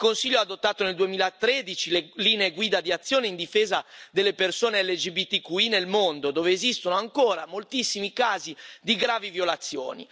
Il Consiglio ha adottato nel 2013 le linee guida di azione in difesa delle persone LGBTQI nel mondo dove esistono ancora moltissimi casi di gravi violazioni.